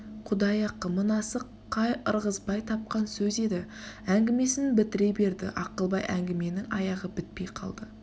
құдай ақы мынасы қай ырғызбай тапқан сөз еді әңгімесін бітіре берді ақылбай әңгіменің аяғы бітпей қалды